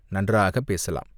"நன்றாகப் பேசலாம்.